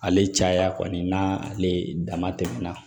Ale caya kɔni n'ale dama tɛmɛna